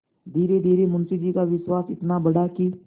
धीरेधीरे मुंशी जी का विश्वास इतना बढ़ा कि